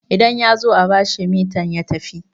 idan ya zo a bashi metan ya tafi